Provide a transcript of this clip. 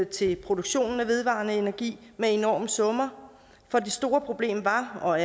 til produktion af vedvarende energi med enorme summer for det store problem var og